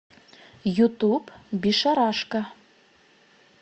ютуб бишарашка